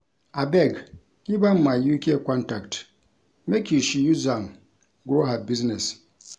Abeg give am my UK contact make she use am grow her business